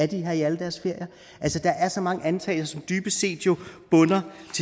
de her i alle deres ferier altså der er så mange antagelser som jo dybest set bunder